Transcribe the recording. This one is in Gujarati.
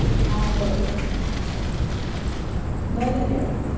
હા બરોબર છે ભલે ત્યારે